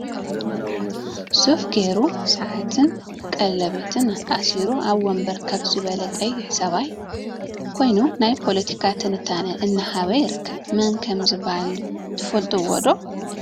ሱፍ ገይሩ ስዓትን ቀለበትን አሲሩ ኣብ ወንበር ከፍ ዝበለ ቀይሕ ሰብኣይ ኮይኑ ናይ ፖለቲ ትንታነ እና ሃበ ይርከ። መን ከም ዝብሃል ትፈልጥዎ ዶ?